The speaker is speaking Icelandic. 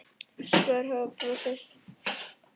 Svör hafa ekki borist.